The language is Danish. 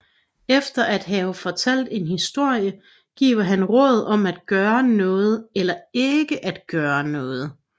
Efter at have fortalt en historie giver han råd om at gøre noget eller ikke at gøre noget